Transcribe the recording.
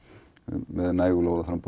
með lóðaframboð